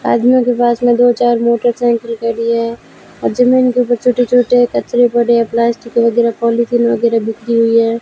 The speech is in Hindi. आदमियों के पास में दो चार मोटरसाइकिल खड़ी है और जमीन के ऊपर छोटे छोटे कचरे पड़े है प्लास्टिक वगैरह पॉलिथीन वगैरह बिखरी हुई है।